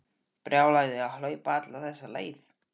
Brjálæði að hlaupa alla þessa leið.